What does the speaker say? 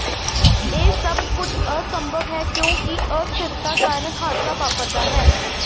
ਇਹ ਸਭ ਕੁਝ ਅਸੰਭਵ ਹੈ ਕਿਉਂਕਿ ਅਸਥਿਰਤਾ ਕਾਰਨ ਹਾਦਸਾ ਵਾਪਰਦਾ ਹੈ